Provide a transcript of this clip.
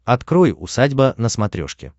открой усадьба на смотрешке